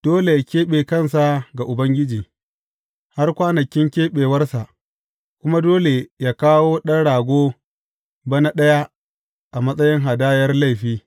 Dole yă keɓe kansa ga Ubangiji, har kwanakin keɓewarsa, kuma dole yă kawo ɗan rago bana ɗaya a matsayin hadayar laifi.